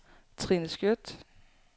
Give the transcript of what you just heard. Trine Skjødt